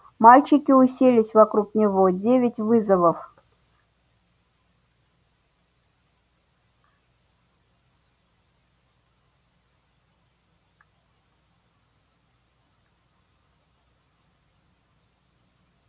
мальчики уселись вокруг него девять вызовов